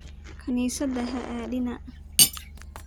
Kanisathey aaa dina.